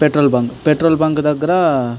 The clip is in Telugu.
Petrol bunk . పెట్రోల్ బంక్ దగ్గర --